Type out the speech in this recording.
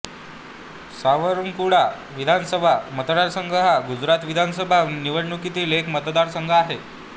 सावरकुंडला विधानसभा मतदारसंघ हा गुजरात विधानसभा निवडणुकीतील एक मतदारसंघ आहे